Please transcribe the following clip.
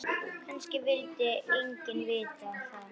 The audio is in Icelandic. Kannski vildi enginn vita það.